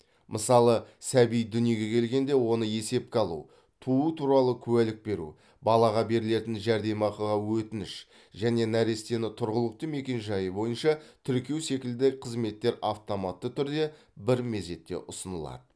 мысалы сәби дүниеге келгенде оны есепке алу туу туралы куәлік беру балаға берілетін жәрдемақыға өтініш және нәрестені тұрғылықты мекенжайы бойынша тіркеу секілді қызметтер автоматты түрде бір мезетте ұсынылады